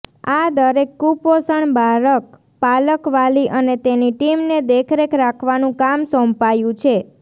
આ દરેક કૂપોષણ બાળક પાલક વાલી અને તેની ટીમને દેખરેખ રાખવાનું કામ સોંપાયું છે